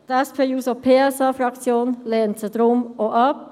Die SP-JUSO-PSA-Fraktion lehnt sie deshalb ab.